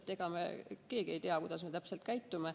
Ega me keegi ei tea, kuidas me täpselt käitume.